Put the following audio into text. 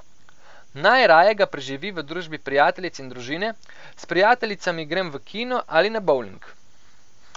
Najraje ga preživi v družbi prijateljic in družine: 'S prijateljicami grem v kino ali na bovling.